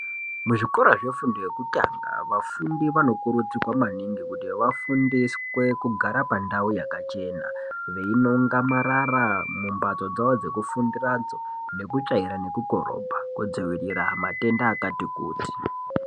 Kuzvikora zvefundo yekutanga vafundi vanokurudzirwa maningi kuti vafundiswe kugara pandau yakachena, veinonga marara mumbatso dzavo dzekufundiradzo nekutsvaira nekukorobha kudzivirira matenda akati kuti.